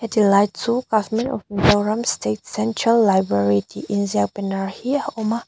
he ti lai chu government of mizoram state central library tih inziak banner hi a awm a.